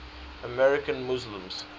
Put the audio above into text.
american muslims